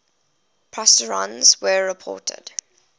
positrons were reported